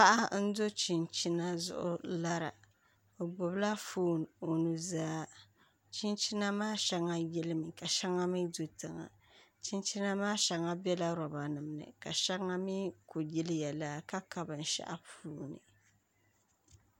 Paɣa n do chinchina zuɣu lara o gbubila foon o nuzaa chinchina maa shɛŋa yilimi ka shɛŋa mii do zuɣusaa chinchina maa shɛŋa biɛla roba nim ni ka shɛŋa mii ku yiliya laa ka ka binshaɣu puuni